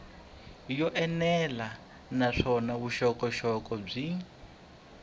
yo enela naswona vuxokoxoko byin